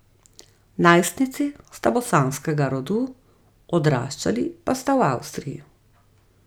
Najstnici sta bosanskega rodu, odraščali pa sta v Avstriji.